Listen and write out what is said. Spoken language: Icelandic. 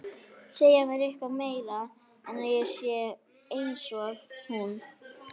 Segja mér eitthvað meira en að ég sé einsog hún.